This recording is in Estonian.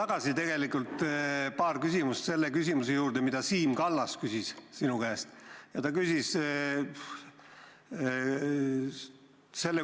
Ma tulen tagasi selle küsimuse juurde, mida Siim Kallas sinu käest küsis.